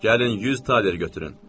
Gəlin 100 taler götürün.